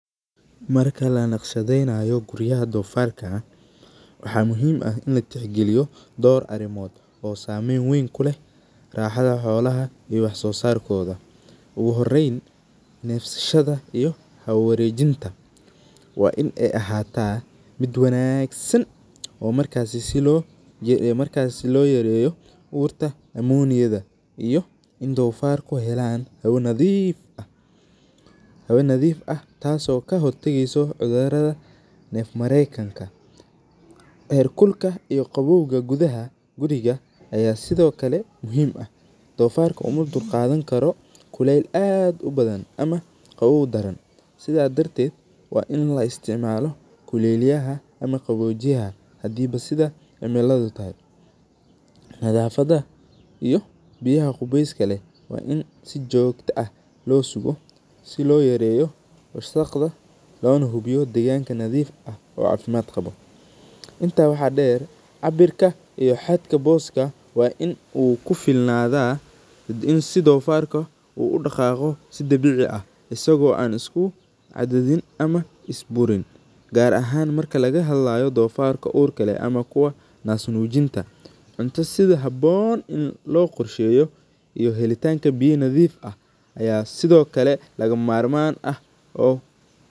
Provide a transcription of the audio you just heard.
Marka lanaqshadeynayo guriyaha donfarka Waxa muhim ah ini latix galiyo oo sameyn weyn kuleh you raxada xolaha iyo wax sosarkada igu Horeyn xolaha nefsashada iyo hawo warejinta waa inay ahata mid wanagsan oo markasi sii loo yareyo aburta ammoniyada amah iyo in dofarku aay helan hawo nadif ah tasi oga hortageyso cudurada nefmarenka iyo herkulka ee qabowga guriga ee sidiokale dofarku umadulqani karo kulelka aad ubadhan amah qabobada, sidha darded waa ini loo istacmalo kulelaha ama qabojiyah, hadi Bo sidha cimilada tahay markay kulelada tahay sii jogto ah si loyareyo wasaqda ama nadafada ,loonah loo ilaliyo wasaqda loona nadifiyo deganka uu cafimad qabo sidaa inta waxa birta iyo boska ini ukufilnada ,in sii dogarka uu ueg tasi oo ah mid dabici ah asigo wanagsan sidhiokale daqan ahaan marki lagahadlayo inti sii habon aya sidiokale lagamamarman ah .